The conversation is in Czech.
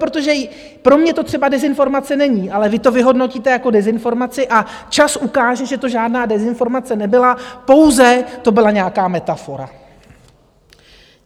Protože pro mě to třeba dezinformace není, ale vy to vyhodnotíte jako dezinformaci, a čas ukáže, že to žádná dezinformace nebyla, pouze to byla nějaká metafora.